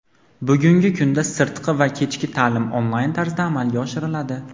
Bugungi kunda sirtqi va kechki ta’lim onlayn tarzda amalga oshiriladi.